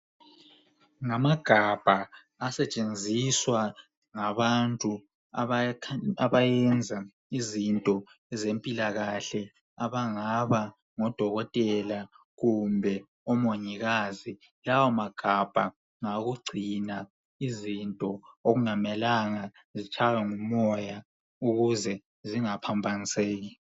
Ngamagabha asetshenziswa ngabantu abayenza izinto ezempilakahle abangaba ngo dokotela kumbe omongikazi. Lawa magabha ngawokugcina izinto okungamelanga zitshaywe ngumoya ukuze zingaphambaniseki.